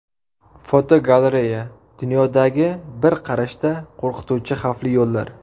Fotogalereya: Dunyodagi bir qarashda qo‘rqituvchi xavfli yo‘llar.